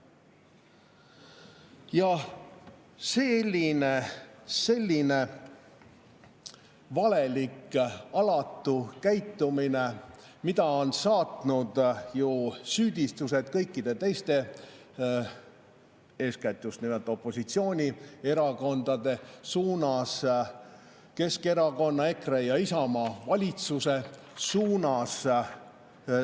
" Jah, selline valelik ja alatu käitumine, mida on saatnud süüdistused kõikide teiste, eeskätt just nimelt opositsioonierakondade suunas, Keskerakonna, EKRE ja Isamaa valitsuse suunas.